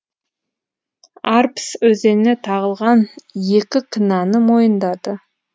арпс өзеніне не тағылған екі кінәні мойындады